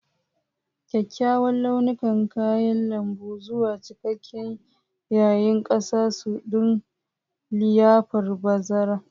Kyawawan launukan kayan lambu zuwa cikakke yayin gasa su don liyafar bazara.